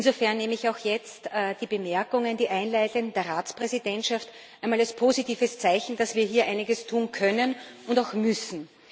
Insofern nehme ich auch jetzt die einleitenden Bemerkungen der Ratspräsidentschaft einmal als positives Zeichen, dass wir hier einiges tun können und auch müssen.